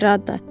Eh, Rada!